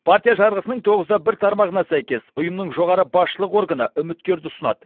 партия жарғысының тоғызда бір тармағына сәйкес ұйымның жоғары басшылығы органы үміткерді ұсынады